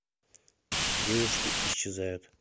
девушки исчезают